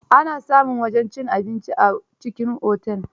Ana samun wajen cin abinci a cikin Otel.